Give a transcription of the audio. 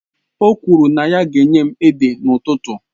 O kwuru na ya ga-enye m ede n'ụtụtụ